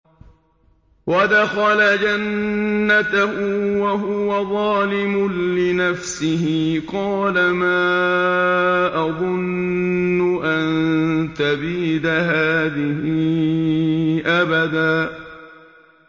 وَدَخَلَ جَنَّتَهُ وَهُوَ ظَالِمٌ لِّنَفْسِهِ قَالَ مَا أَظُنُّ أَن تَبِيدَ هَٰذِهِ أَبَدًا